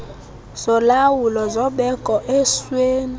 zolawulo zobeko esweni